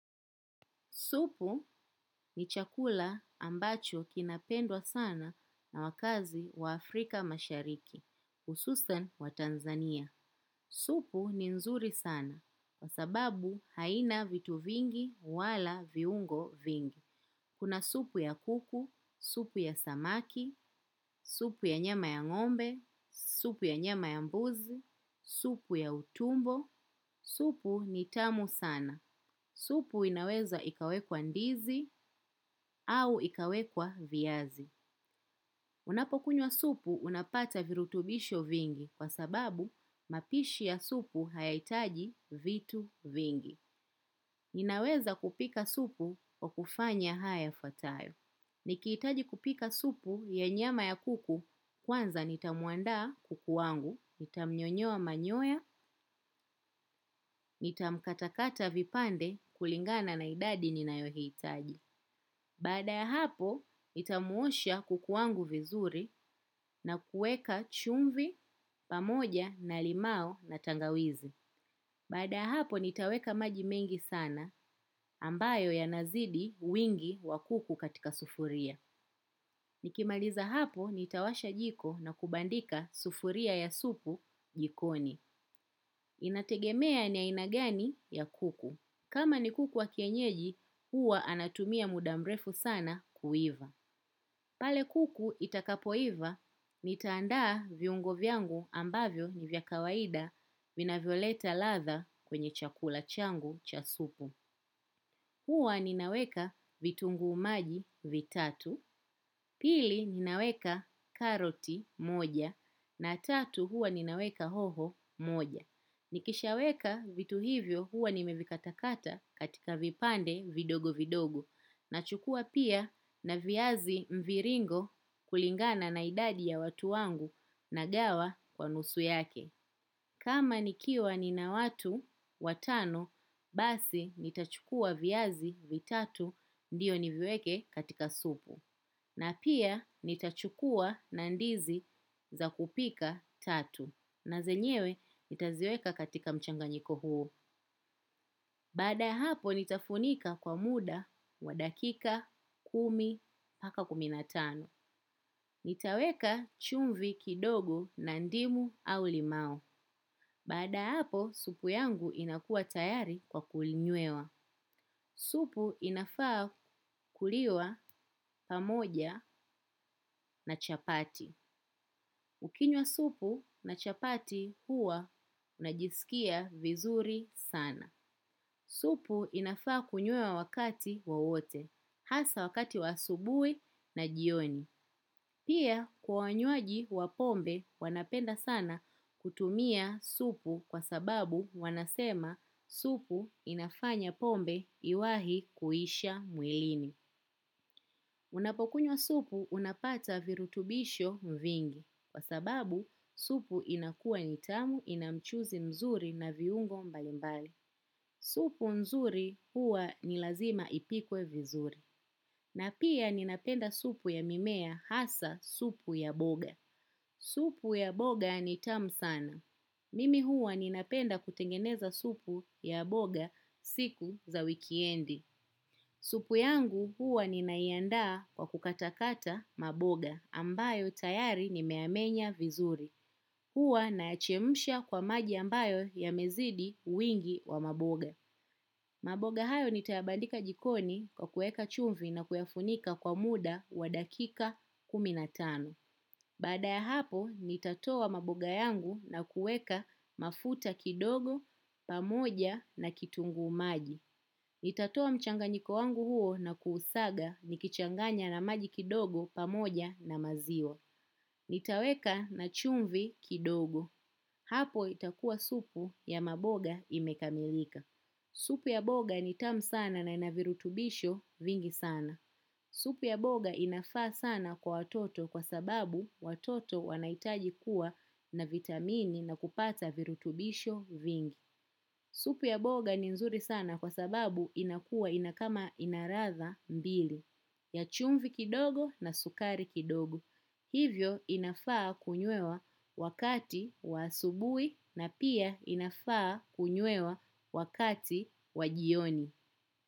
Supu ni chakula ambacho kinapendwa sana na wakaazi wa Afrika mashariki, hususan waTanzania. Supu ni nzuri sana, kwa sababu haina vitu vingi wala viungo vingi. Kuna supu ya kuku, supu ya samaki, supu ya nyama ya ngombe, supu ya nyama ya mbuzi, supu ya utumbo, supu ni tamu sana. Supu inaweza ikawekwa ndizi au ikawekwa viazi. Unapokunywa supu unapata virutubisho vingi kwa sababu mapishi ya supu hayaitaji vitu vingi. Ninaweza kupika supu kwa kufanya haya yafuatayo. Nikihitaji kupika supu ya nyama ya kuku kwanza nitamuandaa kuku wangu, nitamnyoa manyoya, nitamkatakata vipande kulingana na idadi ninayohitaji. Baada ya hapo, nitamuosha kuku wangu vizuri na kueka chumvi pamoja na limau na tangawizi. Baada ya hapo, nitaweka maji mengi sana ambayo yanazidi wingi wa kuku katika sufuria. Nikimaliza hapo, nitawasha jiko na kubandika sufuria ya supu jikoni. Inategemea ni aina gani ya kuku. Kama ni kuku wa kienyeji, huwa anatumia muda mrefu sana kuiva. Pale kuku itakapoiva, nitaandaa viungo vyangu ambavyo ni vya kawaida vinavyoleta ladha kwenye chakula changu cha supu. Huwa ninaweka vitunguu maji vitatu, pili ninaweka karoti moja, na tatu huwa ninaweka hoho moja. Nikishaweka vitu hivyo huwa nimevikatakata katika vipande vidogo vidogo nachukua pia na viazi mviringo kulingana na idadi ya watu wangu nagawa kwa nusu yake. Kama nikiwa nina watu, watano, basi nitachukua viazi vitatu, ndiyo niviweke katika supu. Na pia nitachukua na ndizi za kupika tatu. Na zenyewe nitaziweka katika mchanganyiko huo. Baada ya hapo nitafunika kwa muda wa dakika kumi mpaka kumi na tano nitaweka chumvi kidogo na ndimu ama limau. Baada ya hapo, supu yangu inakua tayari kwa kulinywewa. Supu inafaa kuliwa pamoja na chapati. Ukinywa supu na chapati huwa unajisikia vizuri sana. Supu inafaa kunywewa wakati wawote. Hasa wakati wa asubuhi na jioni. Pia kwa wanywaji wa pombe wanapenda sana kutumia supu kwa sababu wanasema supu inafanya pombe iwahi kuisha mwilini. Unapokunywa supu unapata virutubisho vingi kwa sababu supu inakua ni tamu ina mchuzi mzuri na viungo mbali mbali. Supu mzuri huwa ni lazima ipikwe vizuri. Na pia ninapenda supu ya mimea hasa supu ya boga. Supu ya boga ni tamu sana. Mimi huwa ninapenda kutengeneza supu ya boga siku za wikiendi. Supu yangu huwa ninaiandaa kwa kukatakata maboga ambayo tayari nimeyamenya vizuri. Huwa naya chemsha kwa maji ambayo yamezidi uwingi wa maboga. Maboga hayo nitayabandika jikoni kwa kueka chumvi na kuyafunika kwa muda wa dakika kumi na tano. Baada ya hapo, nitatoa maboga yangu na kuweka mafuta kidogo, pamoja na kitunguu maji. Nitatoa mchanganyiko wangu huo na kuusaga nikichanganya na maji kidogo pamoja na maziwa. Nitaweka na chumvi kidogo. Hapo itakuwa supu ya maboga imekamilika. Supi ya boga ni tamu sana na ina virutubisho vingi sana. Supi ya boga inafaa sana kwa watoto kwa sababu watoto wanaitaji kuwa na vitamini na kupata virutubisho vingi. Supu ya boga ni nzuri sana kwa sababu inakuwa ina kama ladha mbili ya chumvi kidogo na sukari kidogo. Hivyo inafaa kunywewa wakati wa asubuhi na pia inafaa kunywewa wakati wa jioni.